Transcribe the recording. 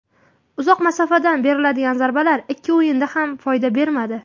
Uzoq masofadan beriladigan zarbalar ikki o‘yinda ham foyda bermadi.